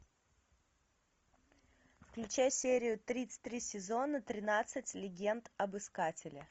включай серию тридцать три сезона тринадцать легенд об искателе